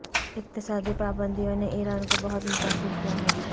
اقتصادی پابندیوں نے ایران کو بہت متاثر کیا ہے